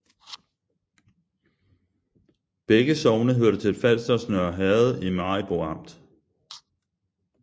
Begge sogne hørte til Falsters Nørre Herred i Maribo Amt